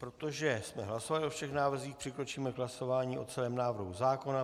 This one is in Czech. Protože jsme hlasovali o všech návrzích, přikročíme k hlasování o celém návrhu zákona.